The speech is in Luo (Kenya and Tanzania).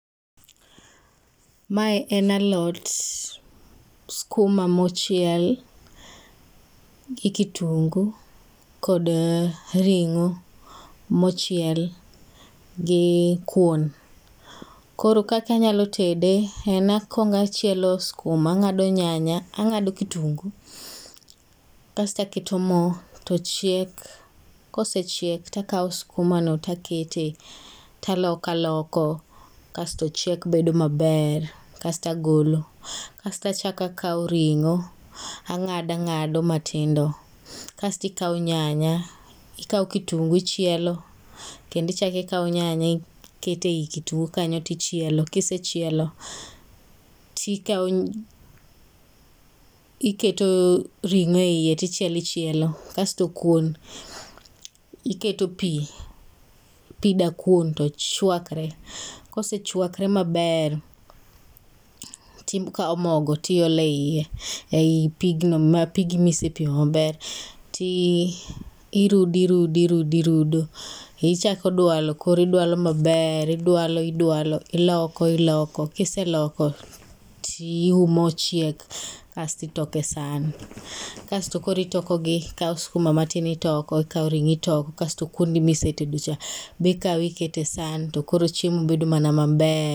Mae en alot skuma ma ochiel gi kitungu kod ting'o mochiel gi kuon. Koro kaka inyalo tede, en akwong achielo skuma. Ang'ado nyanya, ang'ado kitungu, kasto aketo mo to chiek. Kosechiek to akawo skuma no to akete, to aloko aloko, kasto chiek bedo maber. Kasto agolo. Kasto achak akwo ring'o, ang'ado ang'ado matindo. Kasto akawo nyanya, akawo kitungu achielo, kendo icha ikawo nyanya, iketo ei kitungu kanyo to ichielo. Kisechielo, tikawo iketo ringo e iye to ichelo ichielo. Kasto kuon, iketo pi, pi dakuon to chwakore. Ka osechwakore maber, tikawo mogo to iolo e iye, ei pigno, ma pigi misepimo maber. Ti irudo, irudo, irudo, irudo ichako dwalo. Koro idwalo maber, idwalo idwalo iloko iloko, kiseloko tiumo chiek kasto itoko e san. Kasto koro itokogi, ikawo skuma matin itoko, ikawo ring'o itoko, kasto kuondi ma isetedo cha be ikawo iketo e san to koro chiemo bedo mana maber.